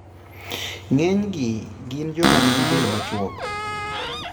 Ng'enygi gin joma nigi del machuok.